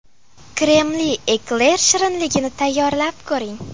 Kremli ekler shirinligini tayyorlab ko‘ring.